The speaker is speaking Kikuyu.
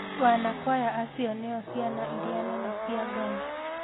Wanakwaya acio nĩo ciana iria nene cia Ngai